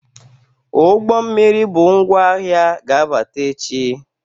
Ụgbọ mmiri bu ngwa ahịa ga-abata echi.